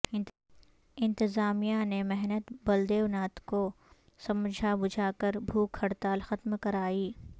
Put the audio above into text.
انتظامیہ نے مہنت بلدیو ناتھ کو سمجھا بجھا کر بھوک ہڑتال ختم کرائی